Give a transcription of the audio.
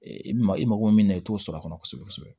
Ee i bɛ ma i mako min na i t'o sɔrɔ a kɔnɔ kosɛbɛ kosɛbɛ